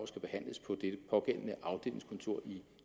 skal behandles på det pågældende afdelingskontor i